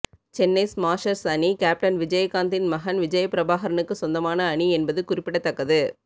Chennai Smashers அணி captain விஜயகாந்தின் மகன் விஜயபிரபாகரனுக்கு சொந்தமான அணி என்பது குறிப்பிடத்தக்கது